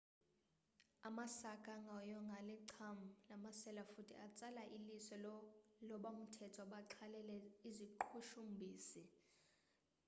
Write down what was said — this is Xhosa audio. amasaka angahoywanga alicham lamasela futhi atsala iliso labomthetho abaxhalele iziqhushumbhisi